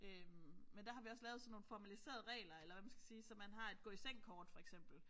Øh men der har vi også lavet sådan nogle formaliserede regler eller hvad man skal sige så man har et gå i seng kort for eksempel